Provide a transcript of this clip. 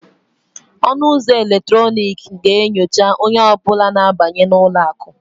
Ọnụ ụzọ eletrọnịkị ga-enyocha onye ọ bụla na-abanye n'ụlọ akụ